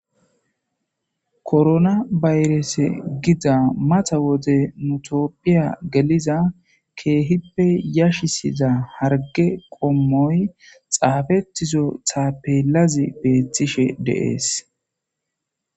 korona bayrese gida mata wode mutophiya geliza keehippe yashisiza harge qommoy xaafettizo thaapelazi beettishe de7es